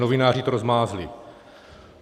Novináři to rozmázli.